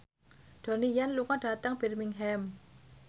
Donnie Yan lunga dhateng Birmingham